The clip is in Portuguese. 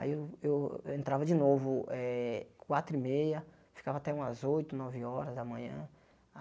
Aí eu eu eu entrava de novo eh quatro e meia, ficava até umas oito, nove horas da manhã.